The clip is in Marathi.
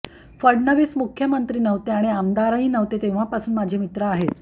फडणवीस मुख्यमंत्री नव्हते आणि आमदारही नव्हते तेव्हापासून माझे मित्र आहेत